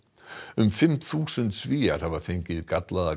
um fimm þúsund Svíar hafa fengið gallaða